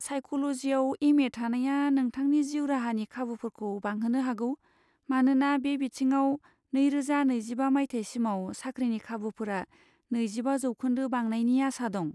साइक'ल'जिआव M A थानाया नोंथांनि जिउ राहानि खाबुफोरखौ बांहोनो हागौ, मानोना बे बिथिङाव नैरोजा नैजिबा माथाइसिमाव साख्रिनि खाबुफोरा नैजिबा जौखोन्दो बांनायनि आसा दं।